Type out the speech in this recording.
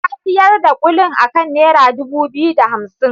Ta siyar da kulin akan naira dubu biyu da hamsin.